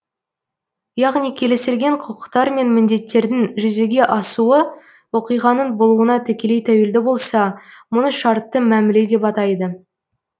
яғни келісілген құқықтар мен міндеттердің жүзеге асуы оқиғаның болуына тікелей тәуелді болса мұны шартты мәміле деп атайды